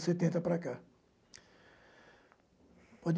setenta para cá.